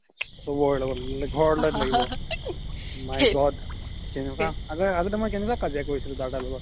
my god কেনেকুৱা আগ্তে মই কেনেকুৱা কাজিয়া কৰিছিলো দাদাৰ লগত